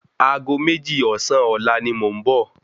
Ago méjì ọ̀sán ọ̀la ni mò ń bọ̀